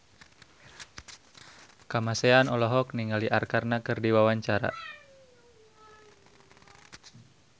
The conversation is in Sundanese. Kamasean olohok ningali Arkarna keur diwawancara